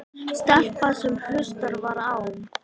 Stelpa sem hlustað var á.